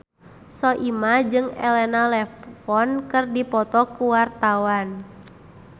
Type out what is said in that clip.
Soimah jeung Elena Levon keur dipoto ku wartawan